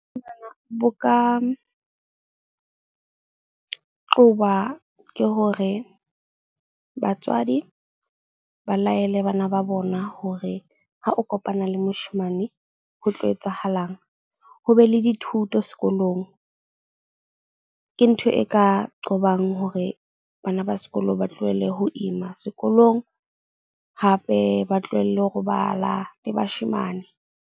Bo ka qoba ke hore, batswadi ba laele bana ba bona hore ha o kopana le moshemane ho tlo etsahalang. Ho be le dithuto sekolong. Ke ntho e ka qobang hore bana ba sekolo ba tlohelle ho ima sekolong, hape ba tlohelle ho robala le bashemane.